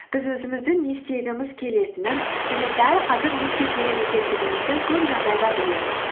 біз өзіміздің не істегіміз келетінін және дәл қазір не істеу керек екендігімізді көп жағдайда білеміз